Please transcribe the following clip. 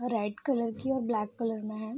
और red colour की और ब्लैक कलर में है।